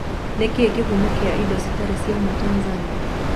Nĩkĩ kihumo kia indo citari cia ũmaa Tanzania?